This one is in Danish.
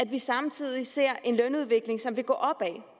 vi samtidig ser en lønudvikling som vil gå opad